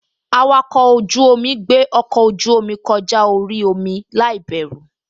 Awakọ̀ ojú-omi gbé ọkọ ojú-omi kọjá orí omi láìbẹ̀rù